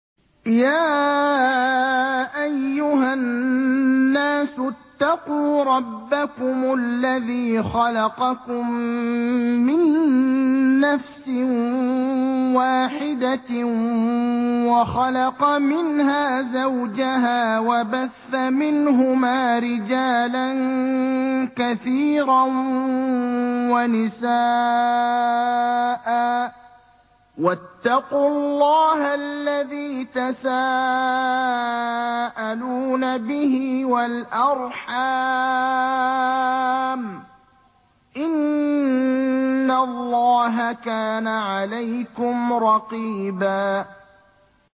يَا أَيُّهَا النَّاسُ اتَّقُوا رَبَّكُمُ الَّذِي خَلَقَكُم مِّن نَّفْسٍ وَاحِدَةٍ وَخَلَقَ مِنْهَا زَوْجَهَا وَبَثَّ مِنْهُمَا رِجَالًا كَثِيرًا وَنِسَاءً ۚ وَاتَّقُوا اللَّهَ الَّذِي تَسَاءَلُونَ بِهِ وَالْأَرْحَامَ ۚ إِنَّ اللَّهَ كَانَ عَلَيْكُمْ رَقِيبًا